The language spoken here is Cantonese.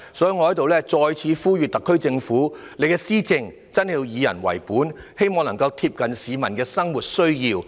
所以，我在此再次呼籲特區政府，施政要真的以人為本，貼近市民的生活需要。